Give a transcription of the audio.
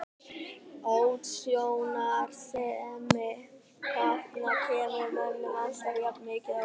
Útsjónarsemi hrafna kemur mönnum alltaf jafn mikið á óvart.